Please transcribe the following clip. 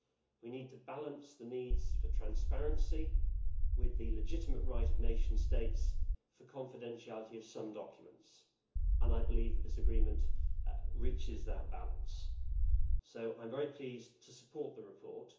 We have to balance the need for transparency with the legitimate right of nation states to the confidentiality of some documents, and I believe that this agreement achieves that balance, so I am very pleased to support the report.